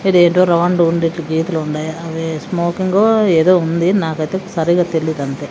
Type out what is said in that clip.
ఇదేంటో రౌండు ఉండేట్టు గీతలు ఉండాయి అవి స్మోకింగో ఏదో ఉంది నాకైతే సరిగా తెలీదంతే.